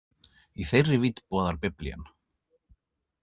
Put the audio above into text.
Í þeirri vídd boðar Biblían.